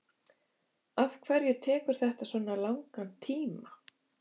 afhverju tekur þetta svona langan tíma